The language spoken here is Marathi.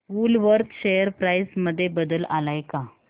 वूलवर्थ शेअर प्राइस मध्ये बदल आलाय का